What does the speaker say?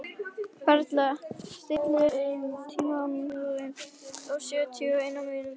Perla, stilltu tímamælinn á sjötíu og eina mínútur.